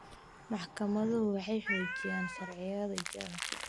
Maxkamaduhu waxay xoojiyaan sharciyada jira.